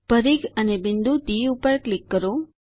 પરિઘ અને બિંદુ ડી ઉપર ક્લિક કરો